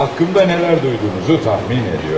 Haqqımda nələr duyduğunuzu təxmin edirəm.